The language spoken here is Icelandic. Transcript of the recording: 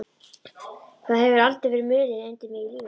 Það hefur aldrei verið mulið undir mig í lífinu.